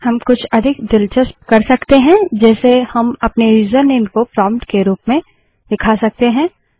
हम कुछ अधिक दिलचस्प कर सकते हैं जैसे हम अपने यूजरनेम को प्रोंप्ट के रूप में दिखा सकते हैं